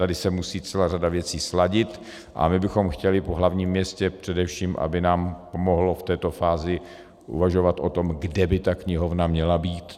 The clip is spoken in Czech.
Tady se musí celá řada věcí sladit a my bychom chtěli po hlavním městě především, aby nám pomohlo v této fázi uvažovat o tom, kde by ta knihovna měla být.